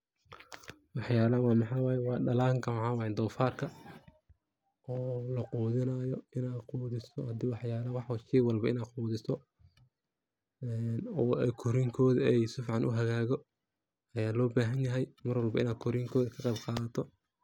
Waxyalahan waxa waye dalanka donfarka, oo la qudinayo ina qudiso waxa waye shey walbo inaad qudiso ee korin koda eh oo si fican u hagago aya lo bahan yahay mar walba inaad korin koda ka qeyb qadato .